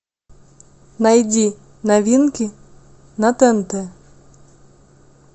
найди новинки на тнт